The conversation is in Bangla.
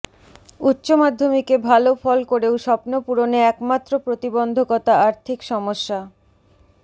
উচ্চমাধ্যমিকে ভালো ফল করেও স্বপ্ন পূরণে একমাত্র প্রতিবন্ধকতা আর্থিক সমস্যা